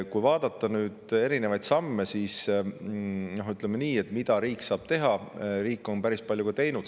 Kui vaadata erinevaid samme, mida riik saab teha, siis ütleme nii, et riik on päris palju teinud.